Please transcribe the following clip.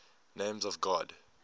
names of god